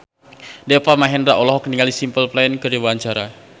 Deva Mahendra olohok ningali Simple Plan keur diwawancara